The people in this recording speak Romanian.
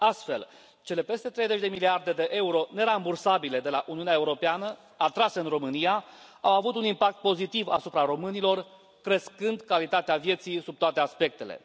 Astfel, cele peste treizeci de miliarde de euro nerambursabile de la Uniunea Europeană atrase în România au avut un impact pozitiv asupra românilor, crescând calitatea vieții sub toate aspectele.